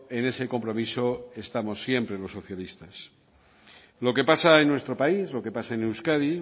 en ese compromiso estamos siempre los socialistas lo que pasa en nuestro país lo que pasa euskadi